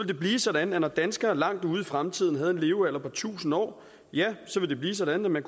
det blive sådan at når danskere langt ud i fremtiden har en levealder på tusind år ja så vil det blive sådan at man